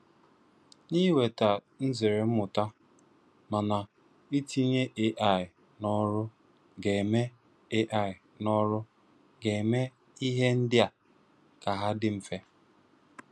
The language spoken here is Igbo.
Nà inweta nzère mmụ̀tà. Mana, itinye AI n’ọ̀rụ̀ ga-eme AI n’ọ̀rụ̀ ga-eme ihe ndị a ka hà dị mfe.